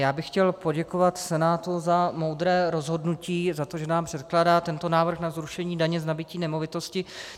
Já bych chtěl poděkovat Senátu za moudré rozhodnutí, za to, že nám předkládá tento návrh na zrušení daně z nabytí nemovitosti.